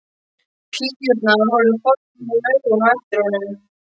Píurnar horfa forvitnum augum á eftir honum.